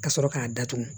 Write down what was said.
Ka sɔrɔ k'a datugu